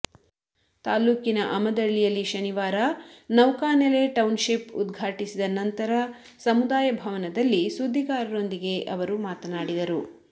ತಾಲ್ಲೂಕಿನ ಅಮದಳ್ಳಿಯಲ್ಲಿ ಶನಿ ವಾರ ನೌಕಾನೆಲೆ ಟೌನ್ಶಿಪ್ ಉದ್ಘಾ ಟಿಸಿದ ನಂತರ ಸಮುದಾಯ ಭವನ ದಲ್ಲಿ ಸುದ್ದಿಗಾರರೊಂದಿಗೆ ಅವರು ಮಾತನಾಡಿದರು